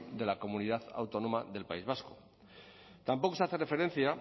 de la comunidad autónoma del país vasco tampoco se hace referencia